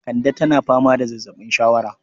Kande tana fama da zazzaɓin shawara